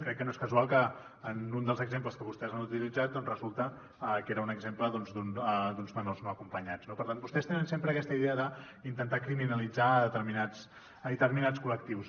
crec que no és casual que en un dels exemples que vostès han utilitzat doncs resulta que era un exemple doncs d’uns menors no acompanyats no per tant vostès tenen sempre aquesta idea d’intentar criminalitzar determinats col·lectius